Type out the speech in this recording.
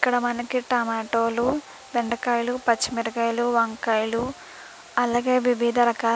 ఇక్కడ మనకి టమాటోలు బెండకాయలు పచ్చిమిరపకాయలు వంకాయలు అలాగే వివిధ రకాల --